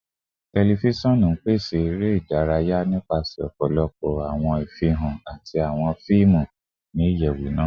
Tẹlifisiọnu n pese ere idaraya nipasẹ ọpọlọpọ awọn ifihan ati awọn fiimu ni iyẹwu naa